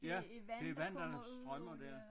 Ja det vand der strømmer dér